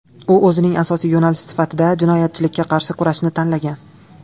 U o‘zining asosiy yo‘nalishi sifatida jinoyatchilikka qarshi kurashni tanlagan.